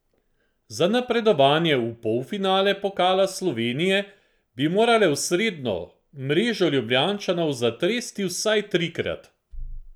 Za napredovanje v polfinale pokala Slovenije bi morale v sredo mrežo Ljubljančanov zatresti vsaj trikrat!